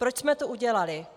Proč jsme to udělali?